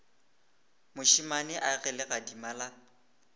mošemane a ge legadima la